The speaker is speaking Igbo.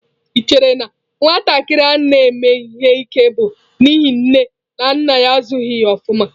Ị chere na nwatakịrị na-eme ihe ike bụ n'ihi nne na nna ya azụghị ya ofuma?